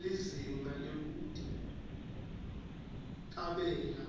lizinga lekuticambela